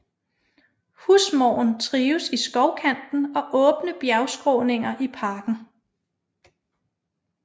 Husmåren trives i skovkanten og åbne bjergskråninger i parken